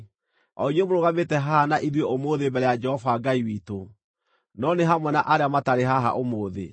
o inyuĩ mũrũgamĩte haha na ithuĩ ũmũthĩ mbere ya Jehova Ngai witũ, no nĩ hamwe na arĩa matarĩ haha ũmũthĩ.